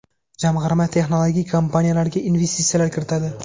Jamg‘arma texnologik kompaniyalarga investitsiyalar kiritadi.